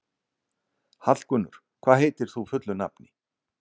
Hallgunnur, hvað heitir þú fullu nafni?